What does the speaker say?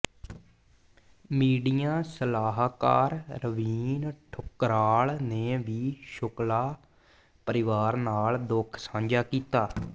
media ਸਲਾਹਕਾਰ ਰਵੀਨ ਠੁਕਰਾਲ ਨੇ ਵੀ ਸ਼ੁਕਲਾ ਪਰਿਵਾਰ ਨਾਲ ਦੁੱਖ ਸਾਂਝਾ ਕੀਤਾ